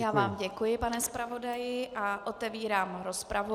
Já vám děkuji, pane zpravodaji, a otevírám rozpravu.